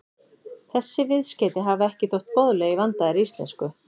Þessi viðskeyti hafa ekki þótt boðleg í vandaðri íslensku.